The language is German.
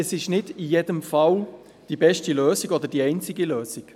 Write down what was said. Es ist aber nicht in jedem Fall die beste Lösung oder die einzige Lösung.